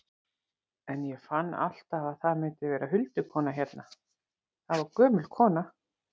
En ég fann alltaf að það myndi vera huldukona hérna, það var gömul kona.